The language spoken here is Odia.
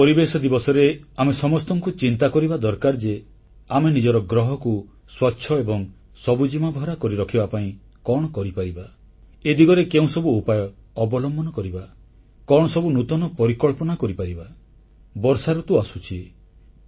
ଏହି ପରିବେଶ ଦିବସରେ ଆମ ସମସ୍ତଙ୍କୁ ଚିନ୍ତା କରିବା ଦରକାର ଯେ ଆମେ ନିଜର ଗ୍ରହକୁ ସ୍ୱଚ୍ଛ ଏବଂ ସବୁଜିମାଭରା କରି ରଖିବା ପାଇଁ କଣ କରିପାରିବା ଏ ଦିଗରେ କେଉଁସବୁ ଉପାୟ ଅବଲମ୍ବନ କରିବା କଣ ସବୁ ନୂତନ ପରିକଳ୍ପନା କରିପାରିବା ବର୍ଷାଋତୁ ଆସୁଛି